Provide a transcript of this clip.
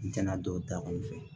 N tɛna dɔw ta anw fɛ